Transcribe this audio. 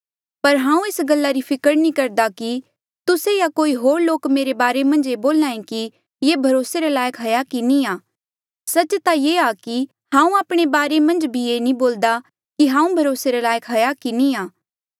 पर हांऊँ एस गल्ला री फिकर नी करदा कि तुस्से या कोई होर लोक मेरे बारे मन्झ ये बोल्हे कि ये भरोसे रे लायक हाया की नी आ सच्च ता ऐें आ कि हांऊँ आपणे बारे मन्झ भी ये नी बोलदा कि हांऊँ भरोसे रे लायक हाया की नी